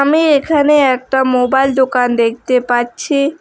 আমি এখানে একটা মোবাইল দোকান দেখতে পাচ্ছি।